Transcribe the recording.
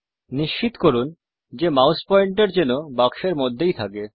নিশ্চিত করুন যে মাউস পয়েন্টার যেন বাক্সের মধ্যেই থাকে